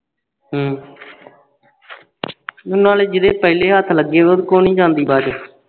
ਹੂ ਨਾਲੇ ਜੀ ਦੇ ਪਹਿਲੇ ਹੱਥ ਲੱਗੇ ਹੋਏ ਉਸ ਕੋਲ ਨਹੀਂ ਜਾਂਦੀ ਬਾਅਦ ਚ